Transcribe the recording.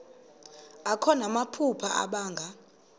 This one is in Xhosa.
akho namaphupha abanga